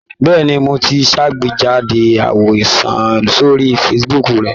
Bẹ́ẹ̀ni, mo ti ṣàgbéjáde àwòrán sórí Facebook rí.